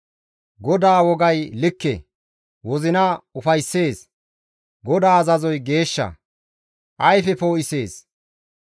GODAA wogay likke; wozina ufayssees. GODAA azazoy geeshsha; ayfe poo7isees.